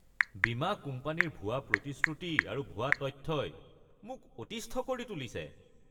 বীমা কোম্পানীৰ ভুৱা প্ৰতিশ্ৰুতি আৰু ভুৱা তথ্যই মোক অতিষ্ঠ কৰি তুলিছে।